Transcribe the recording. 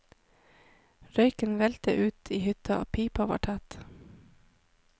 Røyken veltet ut i hytta, pipa var tett.